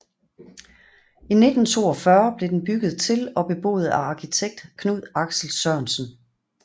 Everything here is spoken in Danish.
I 1942 blev den bygget til og beboet af arkitekt Knud Axel Sørensen